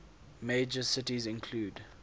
major cities include